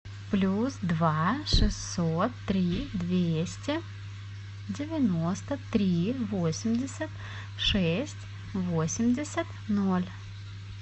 плюс два шестьсот три двести девяносто три восемьдесят шесть восемьдесят ноль